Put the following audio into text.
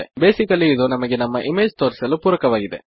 basically ಇದು ನಮಗೆ ನಮ್ಮ ಇಮೇಜ್ ತೋರಿಸಲು ಪೂರಕವಾಗಿದೆ